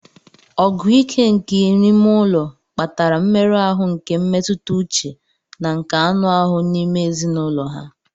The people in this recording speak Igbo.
Ọgụ ike nke n'ime ụlọ kpatara mmerụ ahụ nke mmetụta uche na nke anụ ahụ n'ime ezinụlọ ha.